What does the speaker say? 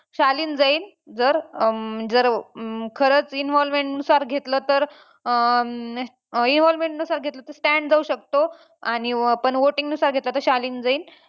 शालीन जाईन जर अं जर जर खरंच involvement नुसार घेतलं तर अं involvement नुसार घेतलं तर stan जाऊ शकतो आणि पण voting नुसार घेतलं तर शालीन जाईन.